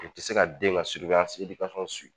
Nin ti se ka den ka